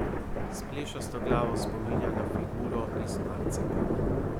S plešasto glavo spominja na figuro iz marcipana.